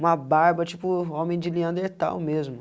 Uma barba, tipo, homem de neanderthal mesmo.